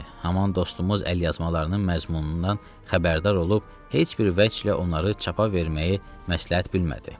Haman dostumuz əlyazmalarının məzmunundan xəbərdar olub heç bir vəc ilə onları çapa verməyi məsləhət bilmədi.